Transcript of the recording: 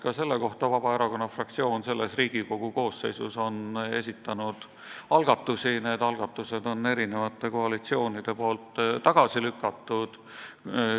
Ka selle kohta on Vabaerakonna fraktsioon selle Riigikogu koosseisu ajal esitanud algatusi ja erinevad koalitsioonid on need algatused tagasi lükanud.